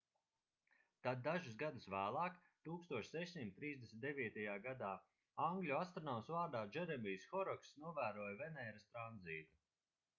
tad dažus gadus vēlāk 1639. gadā angļu astronoms vārdā džeremijs horokss novēroja venēras tranzītu